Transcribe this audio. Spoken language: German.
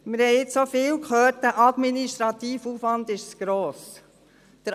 Wir haben jetzt vieles gehört, dass der administrative Aufwand zu gross sei.